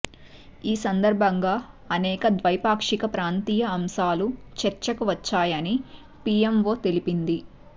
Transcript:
ఈ సందర్భంగా అనేక ద్వైపాక్షిక ప్రాంతీయ అంశాలు చర్చకు వచ్చాయని పిఎంఓ తెలిపింది